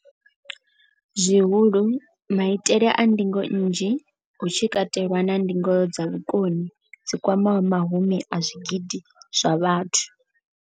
Zwihulu, maitele a ndingo nnzhi, hu tshi katelwa na ndingo dza vhukoni dzi kwamaho mahumi a zwigidi zwa vhathu.